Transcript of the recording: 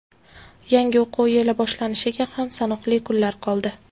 Yangi o‘quv yili boshlanishiga ham sanoqli kunlar qoldi.